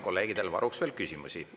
Kolleegidel on varuks veel küsimusi.